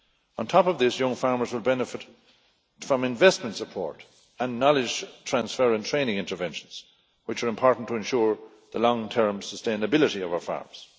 On top of this, young farmers will benefit from investment support and knowledge transfer and training interventions, which are important to ensure the long term sustainability of our farms.